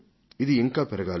ఇది ఇంకా పెరగాలి